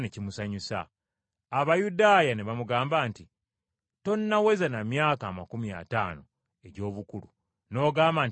Abayudaaya ne bamugamba nti, “Tonnaweza na myaka amakumi ataano egy’obukulu n’ogamba nti walaba Ibulayimu?”